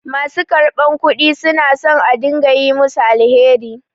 Ma su karɓar kudi su na son a dinga yi musu alheri.